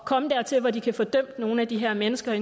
komme dertil hvor de kan få dømt nogle af de her mennesker